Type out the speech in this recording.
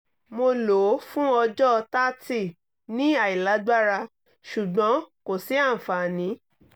mo lo o fun ọjọ thirty ni ailagbara ṣugbọn ko si anfani